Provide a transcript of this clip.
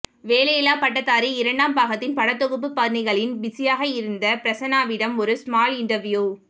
வேலையில்லா பட்டதாரி இரண்டாம் பாகத்தின் படத்தொகுப்பு பணிகளில் பிசியாக இருந்த பிரசன்னாவிடம் ஒரு ஸ்மால் இன்டெர்வியூ